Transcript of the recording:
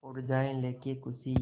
उड़ जाएं लेके ख़ुशी